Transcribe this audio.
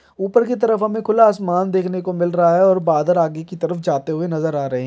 ऊपर की तरफ हमे खुला आसमान देखने को मिल रहा है और बादल आगे के तरफ जाते हुए नज़र आ रहे--